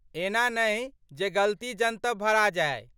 एना नहि जे गलती जनतब भरा जाइ